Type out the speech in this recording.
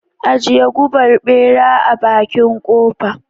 Ajiye gubar bera a bakin kofa.